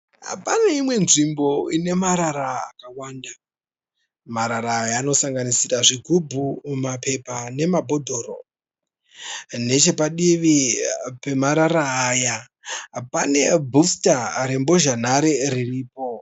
Pane imwe nzvimbo ine marara akawanda. Marara aya anosanganisira zvigubhu, mapepa nemabhodhoro. Nechepadivi pemarara aya pane bhusita rembozhanhare riripo.